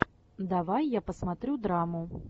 давай я посмотрю драму